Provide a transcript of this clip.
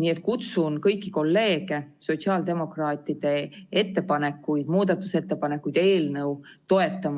Nii et kutsun kõiki kolleege sotsiaaldemokraatide muudatusettepanekuid ja eelnõu,